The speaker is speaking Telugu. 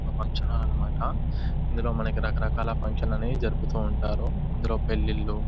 ఒక ఫంక్షన్ హాల్ అన్న మాట ఇందులో మనకి రకరకాల ఫంక్షన్స్ అనేవి జరుపుతూ ఉంటారు ఇందులో పెళ్లిళ్లు--